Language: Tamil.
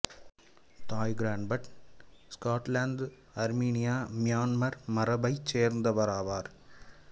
தாய் Kiran Bhat Scotland Armenia Myanmar மரபைச் சேர்ந்தவர் ஆவார்